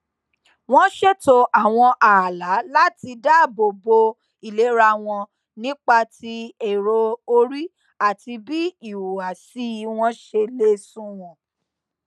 wón ṣètò àwọn ààlà láti dáàbò bo ìlera wọn nípa ti èrò orí àti bí ìhùwàsí wọn ṣe lè sunwọn